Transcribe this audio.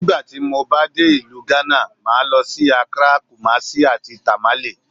Nígbà tí mo bá dé ìlú Hánà, màá lọ sí; Akrá, Kúmásí, àti Tàmálé.